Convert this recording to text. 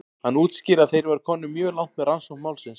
Hann útskýrði að þeir væru komnir mjög langt með rannsókn málsins.